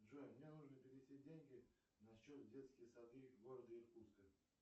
джой мне нужно перевести деньги на счет детские сады города иркутска